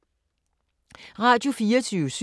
Radio24syv